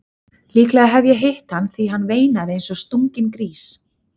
Líklega hef ég hitt hann því hann veinaði eins og stunginn grís.